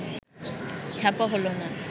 ছাপা হলো না